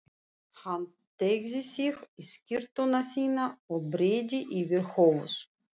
Hann teygði sig í skyrtuna sína og breiddi yfir höfuð.